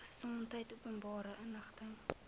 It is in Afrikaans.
gesondheid openbare inligting